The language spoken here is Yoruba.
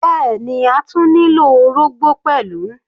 Bẹ́ẹ̀ni, a tún nílò orógbó pẹ̀lú.